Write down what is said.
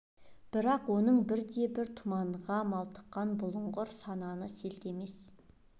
бірақ оның бір де бір тұманға малтыққан бұлыңғыр сананы селт емес